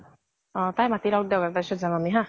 অ তাই মাতি লʼক দিয়া । তাৰ পিছত যাম আমি হা?